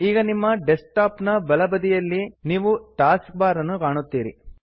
ಈಗ ನಿಮ್ಮ ಡೆಸ್ಕ್ಟಾಪ್ ನ ಬಲಬದಿಯಲ್ಲಿ ನೀವು ಟಾಸ್ಕ್ ಬಾರ್ ಅನ್ನು ಕಾಣುತ್ತೀರಿ